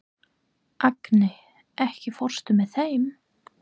Agni, ekki fórstu með þeim?